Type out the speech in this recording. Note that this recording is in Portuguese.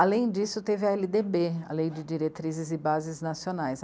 Além disso, teve a ele dê bê, a Lei de Diretrizes e Bases Nacionais.